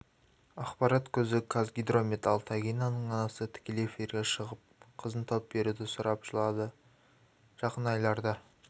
ақпарат көзі қазгидромет ал тагинаның анасы тікелей эфирге шығып қызын тауып беруді сұрап жылады жақын айларда